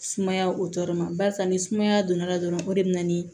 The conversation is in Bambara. Sumaya o tɔɔrɔ ma barisa ni sumaya donna dɔrɔn o de bɛ na ni